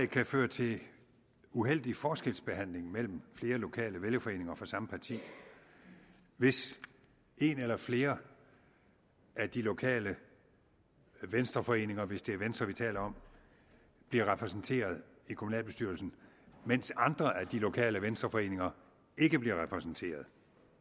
kan føre til uheldig forskelsbehandling mellem flere lokale vælgerforeninger fra samme parti hvis en eller flere af de lokale venstreforeninger hvis det er venstre vi taler om bliver repræsenteret i kommunalbestyrelsen mens andre af de lokale venstreforeninger ikke bliver repræsenteret